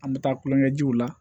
An bɛ taa kulonkɛ jiw la